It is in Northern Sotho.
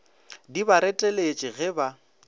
di ba reteletše ge ba